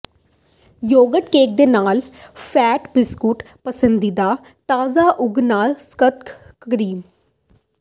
yoghurt cake ਦੇ ਨਾਲ fat biscuit ਪਸੰਦੀਦਾ ਤਾਜ਼ਾ ਉਗ ਨਾਲ ਮੱਖਣ ਕਰੀਮ